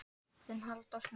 Þinn Halldór Snær.